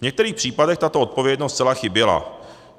V některých případech tato odpovědnost zcela chyběla.